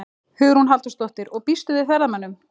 Hugrún Halldórsdóttir: Og býstu við ferðamönnum?